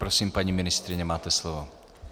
Prosím, paní ministryně, máte slovo.